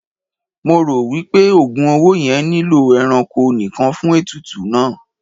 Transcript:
Mo ro wipe ogùn owó yẹn nilo ẹranko nìkàn fún ètùtù náà.